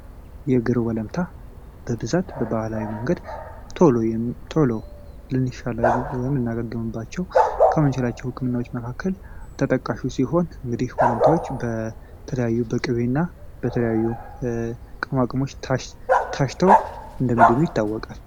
የእግር ወለታ በብዛት በባህላዊ መንገድ ቶሎ ቶሎ ልናገግምባቸው ከምንችላቸው ህክምናዎች መካከል ተጠቃሹ ሲሆን፤ እንግዲህ እነዚህ ወለምታዎች በተለያዩ በቅቤና በተለያዩ በቅመማ ቅመሞች ታሽተው እንደሚድኑ የታወቀ ነው።